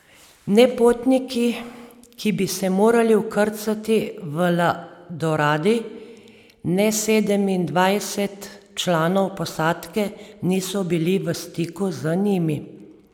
Ne potniki, ki bi se morali vkrcati v La Doradi, ne sedemindvajset članov posadke niso bili v stiku z njimi.